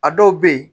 A dɔw bɛ yen